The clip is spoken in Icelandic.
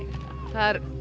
það er